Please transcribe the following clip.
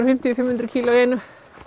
fimmtíu til fimm hundruð kíló í einu